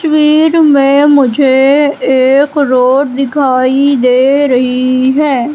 वीर में मुझे एक रोड दिखाई दे रही है।